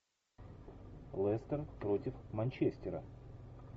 лестер против манчестера